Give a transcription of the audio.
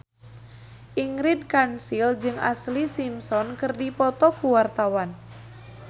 Ingrid Kansil jeung Ashlee Simpson keur dipoto ku wartawan